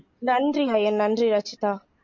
நன்றி ஐயன் நன்றி ரச்சிதா